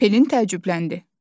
Pelin təəccübləndi.